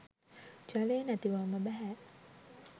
ජලය නැතිවම බැහැ.